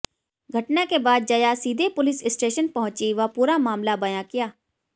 घटना के बाद जया सीधे पुलिस स्टेशन पहुंची व पूरा मामला बयां किया